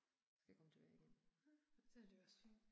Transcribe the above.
Skal komme tilbage igen